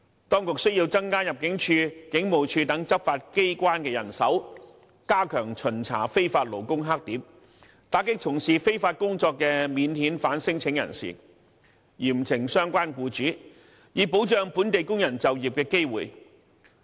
當局須增加入境處和警務處等執法機關的人手，加強巡查非法勞工黑點，打擊從事非法工作的免遣返聲請人，嚴懲相關傭主，以保障本地工人就業機會。